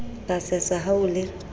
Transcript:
ka sesa ha o le